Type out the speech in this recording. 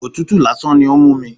Òtútù lásán ni ó ń mú mi.